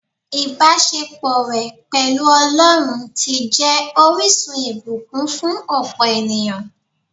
Ìbásepọ̀ rẹ̀ pẹ̀lú Ọlọ́run ti jẹ́ orísun ìbùkún fún òpò ènìyàn